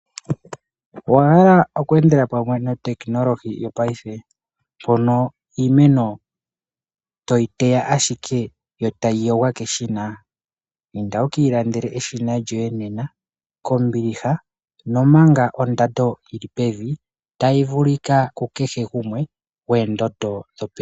Owahala okwendela pamwe no tekinolohi yopayife, pono iimeno toyi teya ashike yo tayiyongwa kedhina, inda wukilandele eshina lyoye nena kombiliha nomanga ondando yili pevi tayi vulika kukehe gumwe gwendondo dhopevi.